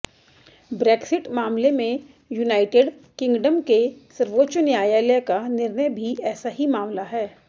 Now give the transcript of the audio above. Brexit मामले में United Kingdom के सर्वोच्च न्यायालय का निर्णय भी ऐसा ही मामला है